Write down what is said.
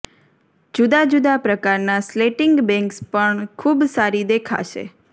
જુદા જુદા પ્રકારના સ્લેંટિંગ બેંગ્સ પણ ખૂબ સારી દેખાશે